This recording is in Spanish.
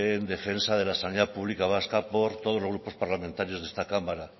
en defensa de la sanidad pública vasca por todos los grupos parlamentarios de esta cámara